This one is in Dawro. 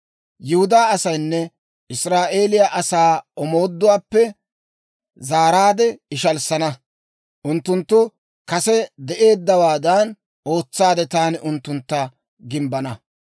Yihudaa asaanne Israa'eeliyaa asaa omooduwaappe zaaraadde ishalissana; unttunttu kase de'eeddawaadan ootsaade taani unttuntta gimbbana.